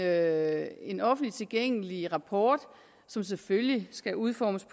er en offentligt tilgængelig rapport som selvfølgelig skal udformes